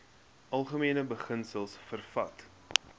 algemene beginsels vervat